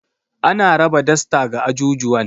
Ana raba dasta ga ajujuwan.